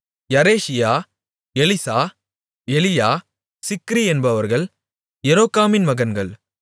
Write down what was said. யரெஷியா Eliah Zichri என்பவர்கள் எரொகாமின் மகன்கள்